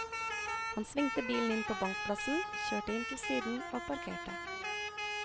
Han svingte bilen inn på bankplassen, kjørte inn til siden og parkerte.